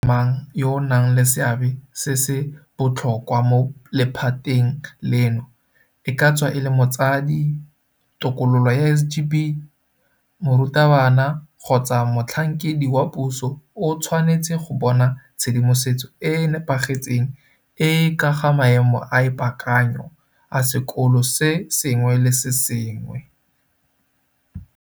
Motho mang le mang yo a nang le seabe se se botlhokwa mo lephateng leno, e ka tswa e le motsadi, tokololo ya SGB, morutabana kgotsa motlhankedi wa puso o tshwanetse go bona tshedimosetso e e nepagetseng e e ka ga maemo a ipaakanyo a sekolo se sengwe le se sengwe.